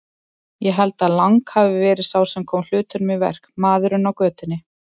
Ég held að Lang hafi verið sá sem kom hlutunum í verk, maðurinn á götunni.